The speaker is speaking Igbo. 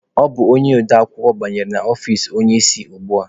Ọ bụ odeakwụkwọ banyere na ọfici onye isi ugbua.